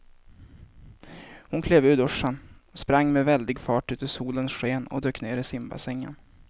Hon klev ur duschen, sprang med väldig fart ut i solens sken och dök ner i simbassängen.